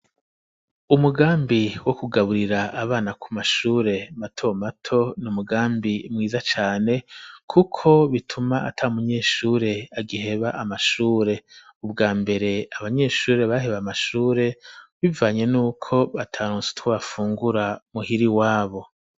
umugambi wo kugaburira abana ku mashure mato mato n'umugambi mwiza cane kuko bituma atamunyeshure agiheba amashure, ubwambere abanyeshuri baheba amashure bivanye n'uko bataronse utwo bafungura muhiri iwabo.